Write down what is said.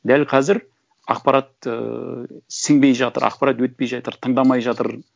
дәл қазір ақпарат ыыы сіңбей жатыр ақпарат өтпей жатыр тыңдамай жатыр